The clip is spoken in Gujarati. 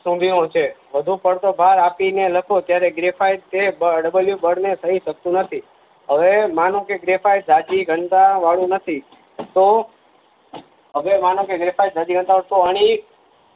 સુધી નું છે વધુ પડતો ભાર આપીને લખો ત્યારે Graphiteawbound ને થઈ શકતું નથી હ્વ્વે માનો કે ગ્રેફાઇટ જાડી ઘનતા વાળું નથી તો હવે માનો કે ગ્રેફાઇટ અણિત